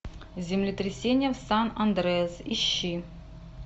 землетрясение в сан андреас ищи